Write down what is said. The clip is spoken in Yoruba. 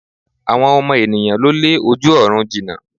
Àwọn ọmọ ènìyãn ló lé ojú ọ̀run jina